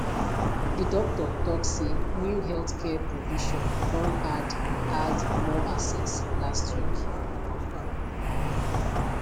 di doktor tok say new healthcare provision don add add more access last week